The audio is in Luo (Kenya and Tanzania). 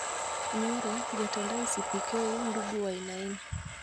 Nyoro, jatend ICPK, Ndungu Wainaina